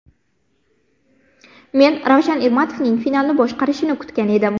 Men Ravshan Ermatovning finalni boshqarishini kutgan edim.